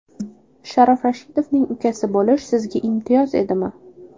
Sharof Rashidovning ukasi bo‘lish sizga imtiyoz edimi?